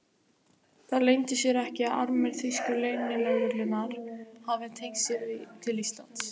Það leyndi sér ekki, að armur þýsku leynilögreglunnar hafði teygt sig til Íslands.